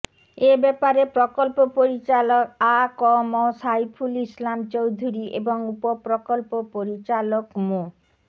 এ ব্যাপারে প্রকল্প পরিচালক আ ক ম সাইফুল ইসলাম চৌধুরী এবং উপপ্রকল্প পরিচালক মো